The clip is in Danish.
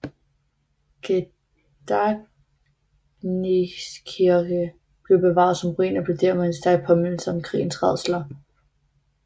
Gedächtniskirche blev bevaret som ruin og blev dermed en stærk påmindelse om krigens rædsler